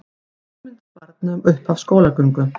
Hugmyndir barna um upphaf skólagöngu